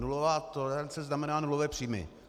Nulová tolerance znamená nulové příjmy.